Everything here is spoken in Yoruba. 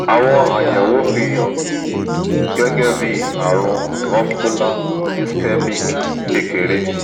àwọn àyẹ̀wò fi hàn gẹ́gẹ́ bí àrùn vascular ischemic kékeré